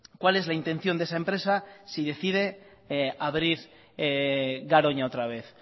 cuál es la intención de esa empresa si decide abrir garoña otra vez